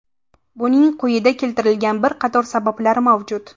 Buning quyida keltirilgan bir qator sabablari mavjud.